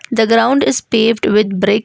the ground is paved with bricks.